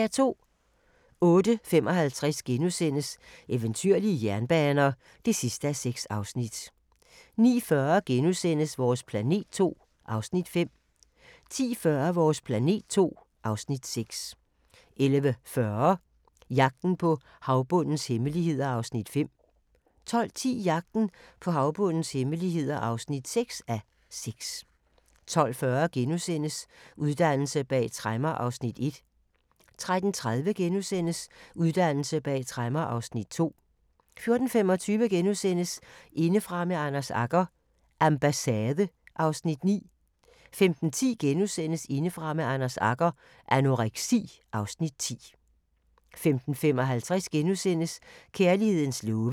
08:55: Eventyrlige jernbaner (6:6)* 09:40: Vores planet II (Afs. 5)* 10:40: Vores planet II (Afs. 6) 11:40: Jagten på havbundens hemmeligheder (5:6) 12:10: Jagten på havbundens hemmeligheder (6:6) 12:40: Uddannelse bag tremmer (Afs. 1)* 13:30: Uddannelse bag tremmer (Afs. 2)* 14:25: Indefra med Anders Agger – Ambassade (Afs. 9)* 15:10: Indefra med Anders Agger – Anoreksi (Afs. 10)* 15:55: Kærlighedens love *